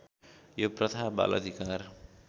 यो प्रथा बालअधिकार